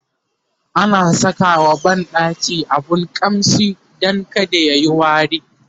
ana Saka wa banɗaki abun ƙamshi Dan kada tayi wari